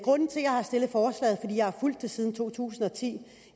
jeg har fulgt det siden to tusind og ti